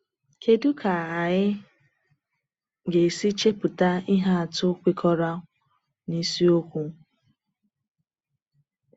Kédú ka anyị ga-esi chepụta ihe atụ kwekọrọ na isiokwu?